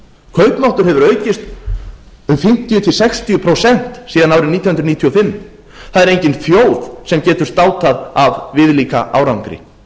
kaupmáttur hefur aukist um fimmtíu til sextíu prósent síðan árið nítján hundruð níutíu og fimm það er engin þjóð sem getur státað af viðlíka árangri ofan á